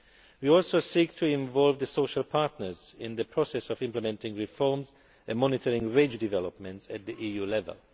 We also seek to involve the social partners in the process of implementing reforms and monitoring wage developments at the EU level.